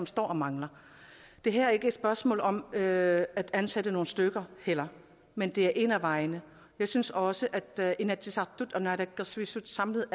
står og mangler det her er ikke et spørgsmål om at ansætte nogle stykker heller men det er en af vejene jeg synes også at inatsisartut og naalakkersuisut samlet